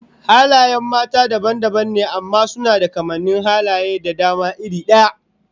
Halayen mata dabam dabam ne amma suna da kamannin halaye da dama iri daya